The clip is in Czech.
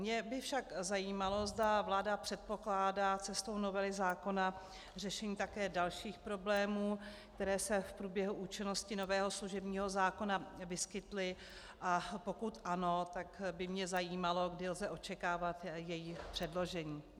Mě by však zajímalo, zda vláda předpokládá cestou novely zákona řešení také dalších problémů, které se v průběhu účinnosti nového služebního zákona vyskytly, a pokud ano, tak by mě zajímalo, kdy lze očekávat její předložení.